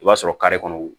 I b'a sɔrɔ kare kɔnɔ